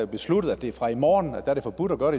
besluttede at det fra i morgen er forbudt at gøre